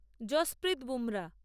Jasprit Bumrah